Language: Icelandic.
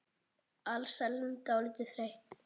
Alsæl en dálítið þreytt.